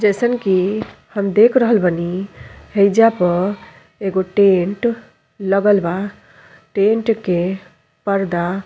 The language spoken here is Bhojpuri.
जइसन कि हम देख रहल बानी हईजा प एगो टेंट लगल बा। टेंट के पर्दा --